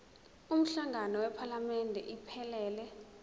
umhlangano wephalamende iphelele